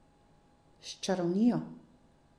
S čarovnijo!